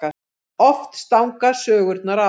Oft stangast sögurnar á.